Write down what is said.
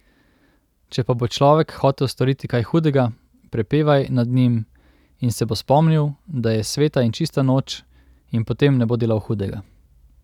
Če pa bo človek hotel storiti kaj hudega, prepevaj nad njim, in se bo spomnil, da je sveta in čista noč, in potem ne bo delal hudega.